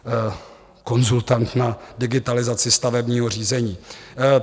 Konzultant na digitalizaci stavebního řízení.